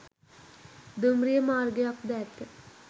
දුම්රිය මාර්ගයක් ද ඇත